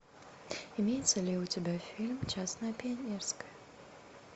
имеется ли у тебя фильм честное пионерское